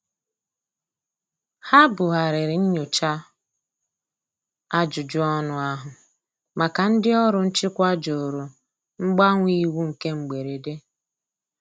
Ha bu ghariri nnyocha ajụjụ ọnụ ahu maka ndi ọrụ nchịkwa jụrụ mgbanwe iwu nke mgberede.